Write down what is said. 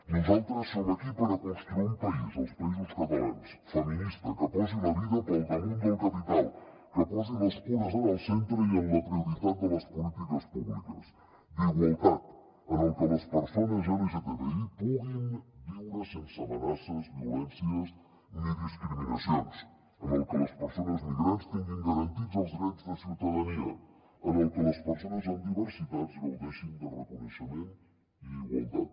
nosaltres som aquí per construir un país els països catalans feminista que posi la vida pel damunt del capital que posi les cures en el centre i en la prioritat de les polítiques públiques d’igualtat en el que les persones lgtbi puguin viure sense amenaces violències ni discriminacions en el que les persones migrants tinguin garantits els drets de ciutadania en el que les persones amb diversitats gaudeixin de reconeixement i igualtat